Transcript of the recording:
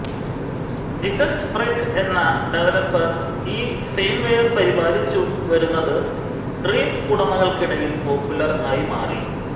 JesusFreke എന്ന ഡെവലപ്പർ ഈ ഫേംവെയർ പരിപാലിച്ചു വരുന്നത് ഡ്രീം ഉടമകൾക്കിടയിൽ പോപ്പുലർ ആയി മാറി